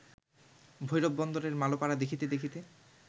ভৈরব বন্দরের মালোপাড়া দেখিতে দেখিতে